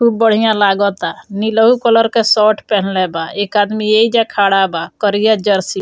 खुब बढ़िया लागाता नीलहु कलर के शर्ट पेहनले बा एक आदमी एइजा खड़ा बा करिया जर्सी --